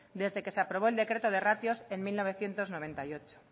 desde que se aprobó el decreto de ratios en mil novecientos noventa y ocho